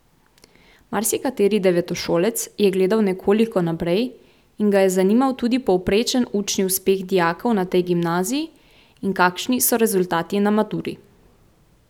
Marsikateri devetošolec je gledal nekoliko naprej in ga je zanimal tudi povprečen učni uspeh dijakov na tej gimnaziji in kakšni so rezultati na maturi.